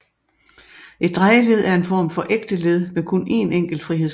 Et drejeled er en form for ægte led med kun én enkelt frihedsgrad